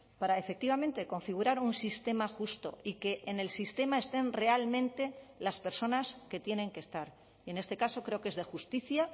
para efectivamente configurar un sistema justo y que en el sistema estén realmente las personas que tienen que estar y en este caso creo que es de justicia